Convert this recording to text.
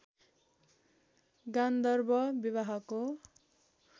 गान्धर्व विवाहको